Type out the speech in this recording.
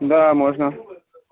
да можно